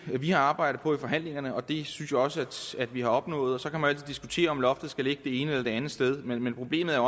har arbejdet på i forhandlingerne og det synes jeg også at vi har opnået så kan man altid diskutere om loftet skal ligge det ene eller det andet sted men men problemet er